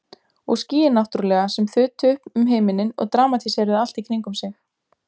Og skýin náttúrlega sem þutu um himininn og dramatíseruðu allt í kringum sig.